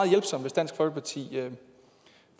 hjælpsomt hvis dansk folkeparti